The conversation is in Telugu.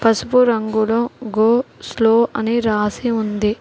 పసుపు రంగులో గో స్లో అని రాసి ఉంది.